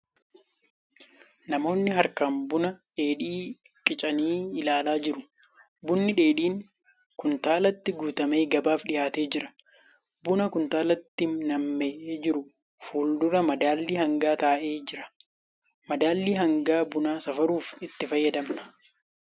Namoonni harkaan buna dheedhii qicanii ilaalaa jiru. Bunni dheedhiin kuntaalatti guutamee gabaaf dhiyaatee jira. Buna kuntaalatti nammee jiru fuuldura madaalli hangaa taa'ee jira. Madaalli hangaa hanga bunaa safaruuf itti fayyadamna.